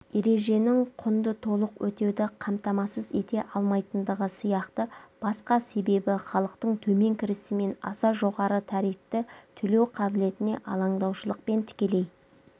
ереженің құнды толық өтеуді қамтамасыз ете алмайтындығы сияқты басқа себебі халықтың төмен кірісімен аса жоғары тарифті төлеу қабілетіне алаңдаушылықпен тікелей